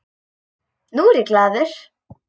Núna er ég glaður.